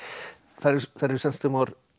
þær eru þær eru